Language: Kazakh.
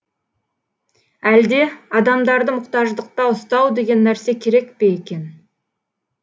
әлде адамдарды мұқтаждықта ұстау деген нәрсе керек пе екен